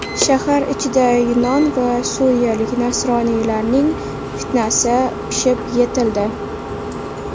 Shahar ichida yunon va suriyalik nasroniylarning fitnasi pishib yetildi .